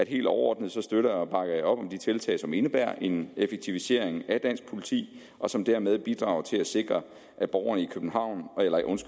helt overordnet støtter og bakker op om de tiltag som indebærer en effektivisering af dansk politi og som dermed bidrager til at sikre at borgerne